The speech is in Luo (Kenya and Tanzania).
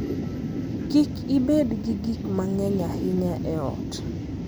Kik ibed gi gik mang'eny ahinya e ot.